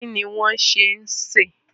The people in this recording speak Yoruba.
Kí ni wọ́n ṣẹ̀ ń se?